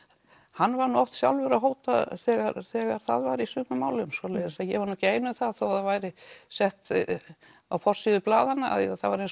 hann var sjálfur að hóta þegar þegar það var í sumum málum svoleiðis að ég var nú ekki ein um það þó það væri sett á forsíðu blaðanna að það væri eins